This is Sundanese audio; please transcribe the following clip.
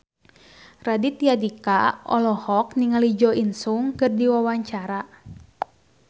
Raditya Dika olohok ningali Jo In Sung keur diwawancara